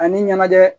Ani ɲɛnajɛ